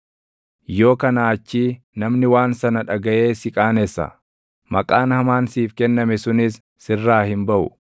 yoo kanaa achii namni waan sana dhagaʼee si qaanessa; maqaan hamaan siif kenname sunis sirraa hin baʼu.